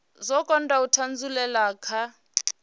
dzo kunda u thasululea kha